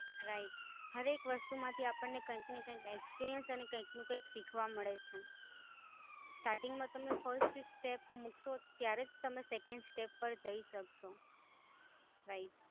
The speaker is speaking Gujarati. રાઈટ, દરેક વસ્તુ માટે આપણને કૈક ને કૈક experience અને કૈક ના કૈક શીખવા મળે છે. stating માં તમે first step મુકો ત્યારે જ તમે second step પાર જય સકશો. Right